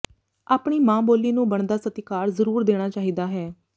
ਆਪਣੀ ਮਾਂ ਬੋਲੀ ਨੂੰ ਬਣਦਾ ਸਤਿਕਾਰ ਜ਼ਰੂਰ ਦੇਣਾ ਚਾਹੀਦਾ ਹੈ